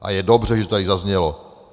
A je dobře, že to tady zaznělo.